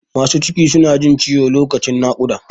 Masu ciki su na jin ciwo lokacin naƙUda